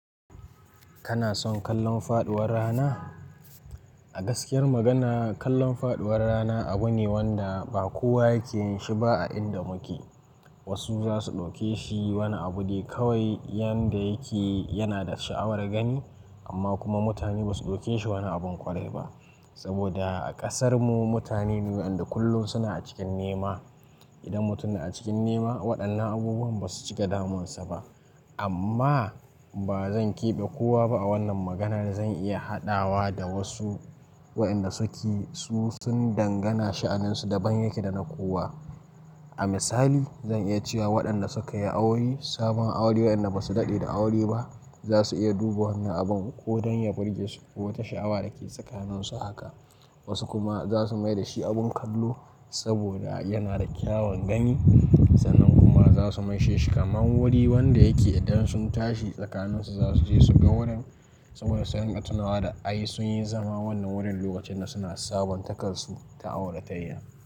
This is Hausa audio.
Kana son kallon faduwar rana? A gaskiyar magana, kallon faduwar rana abu ne wanda ba kowa yake yin shi ba a inda muke. Wasu za su ɗauke shi wani abu dai kawai, yanda yake yana da sha'awar gani, amma kuma mutane ba su ɗauke shi wani abin ƙwarai ba. Saboda a ƙasarmu mutane ne waɗanda kullum suna cikin nema. Idan mutum na cikin nema, waɗannan abubuwan ba su cika damunsa ba. Amma ba zan keɓe kowa ba a wannan maganar. Zan iya haɗawa da wasu waɗanda suke, su sun dangana sha'anin su daban yake da na kowa. A misali, zan iya cewa waɗanda suka yi aure, sabon aure waɗanda ba su daɗe da aure ba, za su iya duba wannan abin ko don ya burge su ko wata sha'awa da ke tsakanin su haka. Wasu kuma za su mai da shi abin kallo saboda yana da kyawawan gani, sannan kuma za su maishe shi kamar wuri wanda yake idan sun tashi tsakanin su za su je su ga wurin saboda sun ga tunawa da ai sun yi zama wannan wurin lokacin da suna sabon takarsu ta aure tayi.